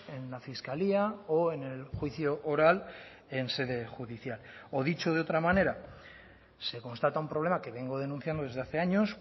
en la fiscalía o en el juicio oral en sede judicial o dicho de otra manera se constata un problema que vengo denunciando desde hace años